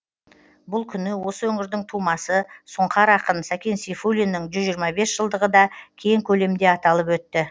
бұл күні осы өңірдің тумасы сұңқар ақын сәкен сейфулиннің жүз жиырма бес жылдығы да кең көлемде аталып өтті